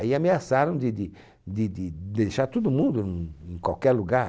Aí ameaçaram de de de de deixar todo mundo hum em qualquer lugar.